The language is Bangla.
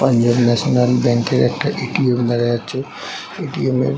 পাঞ্জাব ন্যাশনাল ব্যাঙ্ক -এর একটা এ.টি.এম. দেখা যাচ্ছে | এ.টি.এম. -এর --